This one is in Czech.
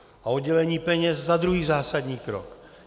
A oddělení peněz za druhý zásadní krok.